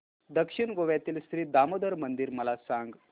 दक्षिण गोव्यातील श्री दामोदर मंदिर मला सांग